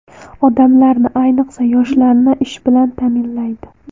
Odamlarni, ayniqsa, yoshlarni ish bilan ta’minlaydi.